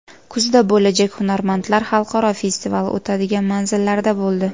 Kuzda bo‘lajak Hunarmandlar xalqaro festivali o‘tadigan manzillarda bo‘ldi.